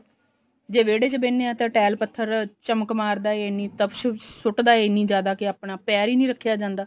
ਜੇ ਵਿਹੜੇ ਚ ਬਹਿਨੇ ਆ ਤਾਂ tile ਪੱਥਰ ਚਮਕ ਮਾਰਦਾ ਐ ਇਹਨੀ ਤਪਸ਼ ਸੁਟਦਾ ਐ ਇਹਨੀ ਜਿਆਦਾ ਕਿ ਆਪਣਾ ਪੈਰ ਈ ਨੀ ਰੱਖਿਆ ਜਾਂਦਾ